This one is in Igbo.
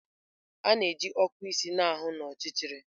A na-eji okụ isi na-ahụ n'ọchịchịrị.